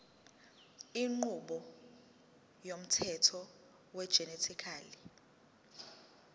inqubo yomthetho wegenetically